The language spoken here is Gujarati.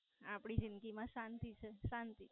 આપડી જિંદગી મા શાંતિ છે શાંતિ.